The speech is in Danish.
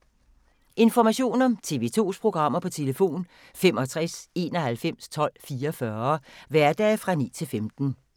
Information om TV 2's programmer: 65 91 12 44, hverdage 9-15.